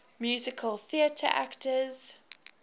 musical theatre actors